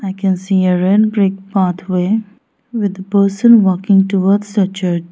i can see a ran brick pathway with person working towards the church.